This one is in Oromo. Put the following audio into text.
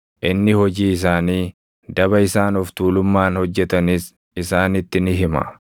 inni hojii isaanii, daba isaan of tuulummaan hojjetanis isaanitti ni hima.